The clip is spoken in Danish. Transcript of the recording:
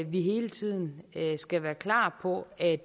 vi hele tiden skal være klar på at